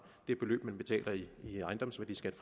det beløb man betaler i ejendomsværdiskat